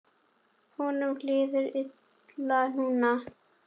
Honum líður illa núna.